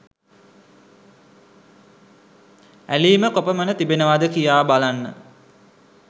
ඇලීම කොපමණ තිබෙනවද කියා බලන්න.